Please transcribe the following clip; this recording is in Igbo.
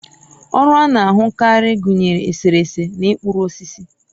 ọrụ a na-ahụkarị gụnyere eserese na ịkpụrụ osisi